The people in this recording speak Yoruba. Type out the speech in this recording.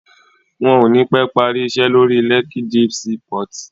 Wọ́n ò ní pẹ́ parí iṣẹ́ lórí Lekki Deep Sea port